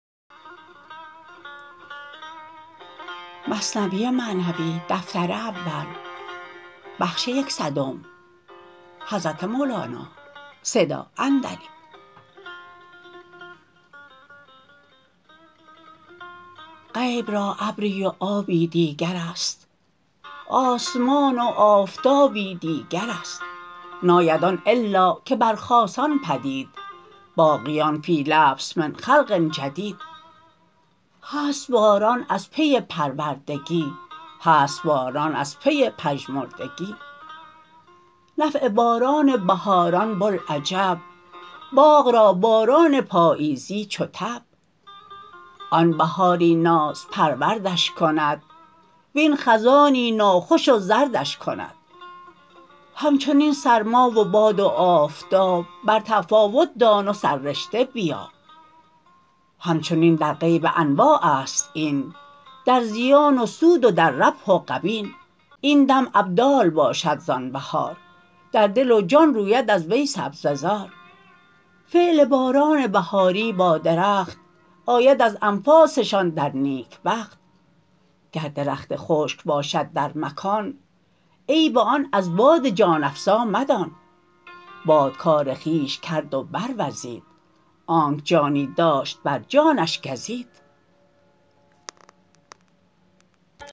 غیب را ابری و آبی دیگرست آسمان و آفتابی دیگرست ناید آن الا که بر خاصان پدید باقیان فی لبس من خلق جدید هست باران از پی پروردگی هست باران از پی پژمردگی نفع باران بهاران بوالعجب باغ را باران پاییزی چو تب آن بهاری نازپروردش کند وین خزانی ناخوش و زردش کند همچنین سرما و باد و آفتاب بر تفاوت دان و سررشته بیاب همچنین در غیب انواعست این در زیان و سود و در ربح و غبین این دم ابدال باشد زان بهار در دل و جان روید از وی سبزه زار فعل باران بهاری با درخت آید از انفاسشان در نیکبخت گر درخت خشک باشد در مکان عیب آن از باد جان افزا مدان باد کار خویش کرد و بر وزید آنک جانی داشت بر جانش گزید